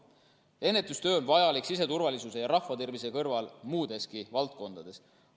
Ennetustöö on vajalik siseturvalisuse ja rahvatervise kõrval muudeski valdkondades.